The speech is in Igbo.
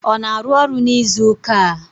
Ọ na-arụ ọrụ n'izuụka a?